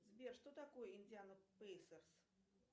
сбер что такое индиана спейсерс